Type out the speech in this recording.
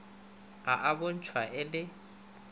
a a bontšhwa e le